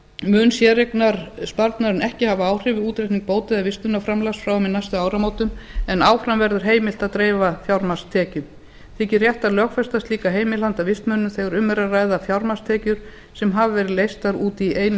mun séreignarsparnaðurinn ekki hafa áhrif við útreikning bóta eða vistunarframlags frá og með næstu áramótum en áfram verður heimilt að dreifa fjármagnstekjum þykir rétt að lögfesta slíka heimild handa vistmönnum þegar hve r að ræða fjármagnstekjur sem hafa verið leystar út í einu